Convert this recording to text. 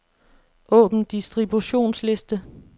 Åbn distributionsliste.